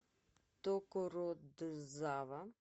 токородзава